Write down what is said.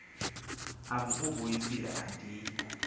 am uvuyisile andiyi